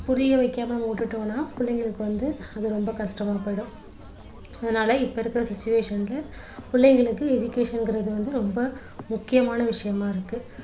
புரிய வைக்காம விட்டுட்டோம்னா பிள்ளைங்களுக்கு வந்து அது ரொம்ப கஷ்டமா போயிடும் அதனால இப்போ இருக்குற situation ல பிள்ளைங்களுக்கு education ங்குறது வந்து ரொம்ப முக்கியமான விஷயமா இருக்கு